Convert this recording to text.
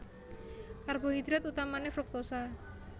Karbohidrat utamané fruktosa